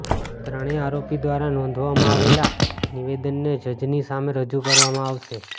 ત્રણેય આરોપી દ્વારા નોંધાવવામાં આવેલા નિવેદનને જજની સામે રજૂ કરવામાં આવશે